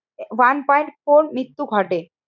One point four মৃত্যু ঘটে।